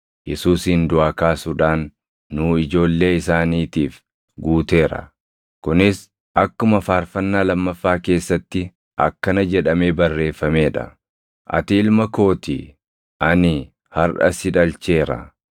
Yesuusin duʼaa kaasuudhaan nuu ijoollee isaaniitiif guuteera. Kunis akkuma faarfannaa lammaffaa keessatti akkana jedhamee barreeffamee dha; “ ‘Ati ilma koo ti; ani harʼa si dhalcheera.’ + 13:33 \+xt Far 2:7\+xt*